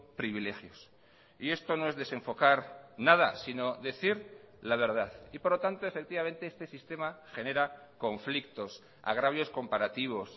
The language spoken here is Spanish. privilegios y esto no es desenfocar nada sino decir la verdad y por lo tanto efectivamente este sistema genera conflictos agravios comparativos